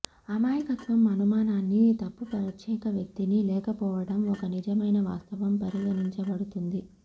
అమాయకత్వం అనుమానాన్ని తప్పు ప్రత్యేక వ్యక్తిని లేకపోవడం ఒక నిజమైన వాస్తవం పరిగణించబడుతుంది